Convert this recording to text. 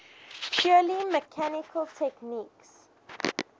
purely mechanical techniques